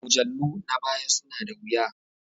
Mujallu na baya suna da wuya